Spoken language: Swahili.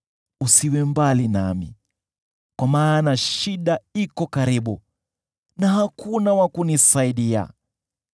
Usiwe mbali nami, kwa maana shida iko karibu na hakuna wa kunisaidia.